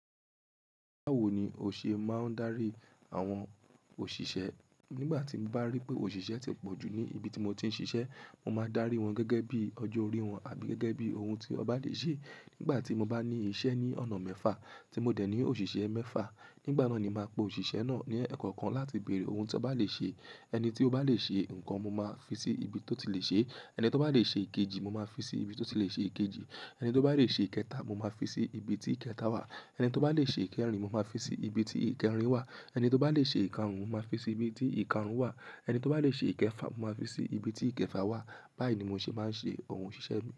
Báwo ni o ṣe máa ń darí àwọn òṣìṣẹ́? Nígbà tí mo bá rí pé òṣìṣẹ́ ti pọ̀ jù ní ibi tí mo ti ń ṣiṣẹ́, mo máa dárí wọn gẹ́gẹ́ bí ọjọ́ orí wọn tàbí gẹ́gẹ́ bí ohun tí wọn ba lè ṣe. Nígbà tí mo bá ní iṣẹ́ ní ọ̀nà mẹ́fà, tí mo dẹ̀ ní òṣìṣẹ́ mẹ́fà, nígbà náà ni màá pe òṣìṣẹ́ náà ní ẹ̀kọ̀kan láti bèrè ohun tí wọ́n bá lè ṣe. Ẹni tí ó bá lè ṣe nǹkan, mo máa fi sí ibi tó ti lè ṣe é. Ẹni tí ó bá lè ṣe èkejì, mo máa fi sí ibi tó ti lè ṣe èkejì. Ẹni tí ó bá lè ṣe ìkẹta, mo máa fi sí ibi tí ìkẹta wà. Ẹni tí ó bá lè ṣe ìkẹrin, mo máa fi sí ibi tí ìkẹrin wà. Ẹni tí ó bá lè ṣe ìkarun, mo máa fi sí ibi tí ìkarun wà. Ẹni tí ó bá lè ṣe ìkẹfà, mo máa fi sí ibi tí ìkẹfà wà. Báyìí ni mo ṣe máa ń ṣe awon oṣíṣe mi.